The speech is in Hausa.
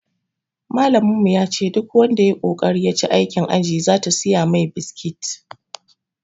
Malamin yace duk wanda yayi kokari ya ci aikin ajin zata siya mai biskit